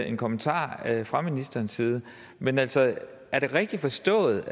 en kommentar fra ministerens side men altså er det rigtig forstået